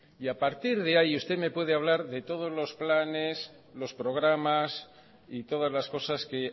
y a partir de ahí usted me puede hablar de todos los planes los programas y todas las cosas que